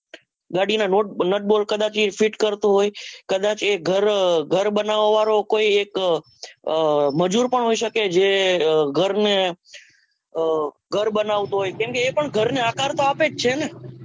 ગાડીના નટબોલ્ટ કદાચ એ feet કરતો હોય કદાચ એ ઘર બનાવા વાળો કોઈ એક મજુરભી હોઈ શકે જે ઘરને ઘર બનાવતો હોય કેમ એ પણ ઘરને આકાર તો આપે જ છે ને